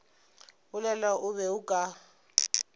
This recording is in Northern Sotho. bolela o be o ka